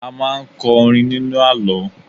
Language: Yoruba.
A máa ń kọ orin nínú àlọ́